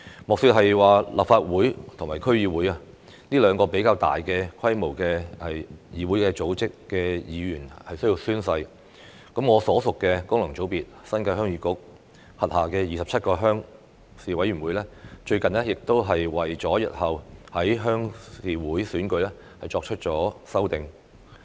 莫說是立法會和區議會這兩個組織規模較大的議會要求議員宣誓，我所屬的功能界別新界鄉議局，其轄下27個鄉事委員會最近亦為日後的鄉事會選舉作出修訂。